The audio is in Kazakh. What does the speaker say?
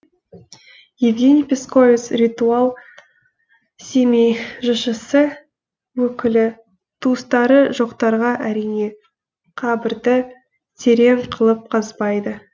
евгений песковец ритуал семей жшс өкілі туыстары жоқтарға әрине қабірді терең қылып қазбайды